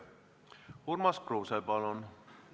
Urmas Kruuse, palun!